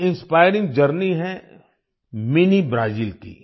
ये inspiring journey है mini Brazil की